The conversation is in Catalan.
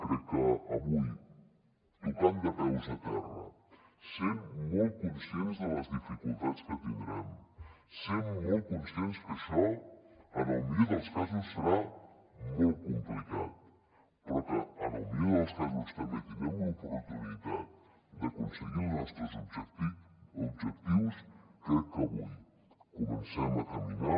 crec que avui tocant de peus a terra sent molt conscients de les dificultats que tindrem sent molt conscients que això en el millor dels casos serà molt complicat però que en el millor dels casos també tindrem l’oportunitat d’aconseguir els nostres objectius crec que avui comencem a caminar